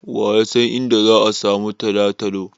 Wa ya san inda za'a samu Talatalo.